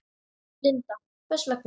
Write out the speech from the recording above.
Linda: Hvers vegna?